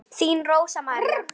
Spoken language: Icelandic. Þín Rósa María.